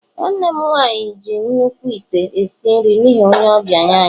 nwanne m nwanyi ji nnukwu ite esi nri n'ihi onye ọbịa anyi